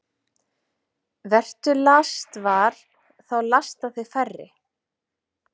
Vertu lastvar – þá lasta þig færri.